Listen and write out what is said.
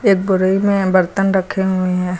एक बोरी में बर्तन रखे हुए हैं।